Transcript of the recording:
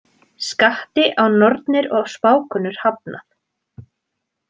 Skatti á nornir og spákonur hafnað